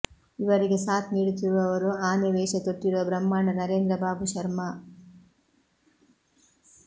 ಇವರಿಗೆ ಸಾಥ್ ನೀಡುತ್ತಿರುವವರು ಆನೆ ವೇಷ ತೊಟ್ಟಿರುವ ಬ್ರಹ್ಮಾಂಡ ನರೇಂದ್ರ ಬಾಬು ಶರ್ಮಾ